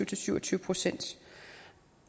til syv og tyve procent